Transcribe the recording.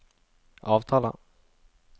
avtaler